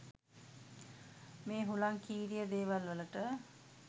මේ හුලංකීරිය දේවල් වලට